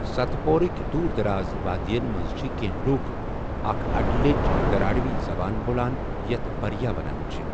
ست پوٗرٕک دوٗر دراز وادیَن منٛز چھِ کینٛہہ لوٗکھ اکھ اڈٕلیچ دراوڑی زبان بولان یَتھ بھریا ونان چھِ ۔